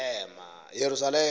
yeyerusalem